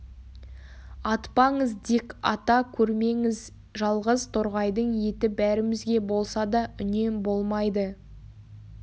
атпаңыз дик ата көрмеңіз жалғыз торғайдың еті бәрімізге болса да үнем болмайды